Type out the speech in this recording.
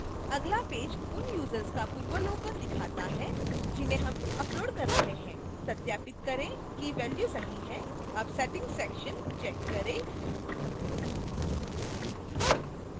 अगला पेज उन यूजर्स का पूर्वावलोकन दिखाता है जिन्हें हम अपलोड कर रहे हैं सत्यापित करें कि values सही हैं अब settings section check करें